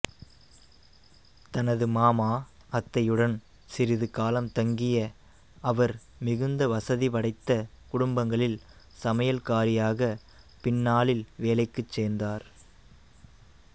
தனது மாமா அத்தையுடன் சிறிது காலம் தங்கிய அவர் மிகுந்த வசதிபடைத்த குடும்பங்களில் சமையல்காரியாகப் பின்னாளில் வேலைக்குச் சேர்ந்தார்